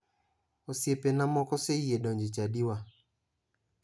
Osiepena moko oseyie donjo e chadiwa.